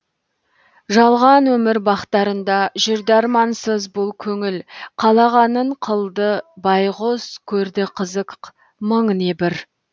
жалған өмір бақтарында жүрді армансыз бұл көңіл қалағанын қылды байғұс көрді қызық мың небір